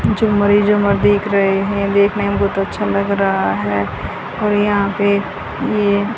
जो देख रहे हैं देखने में बहुत अच्छा लग रहा है और यहां पे ये--